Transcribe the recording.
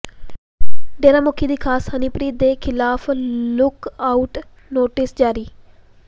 ਡੇਰਾ ਮੁਖੀ ਦੀ ਖਾਸ ਹਨੀਪ੍ਰੀਤ ਦੇ ਖਿਲਾਫ ਲੁੱਕ ਆਊਟ ਨੋਟਿਸ ਜਾਰੀ